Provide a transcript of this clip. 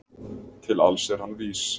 Til alls er hann vís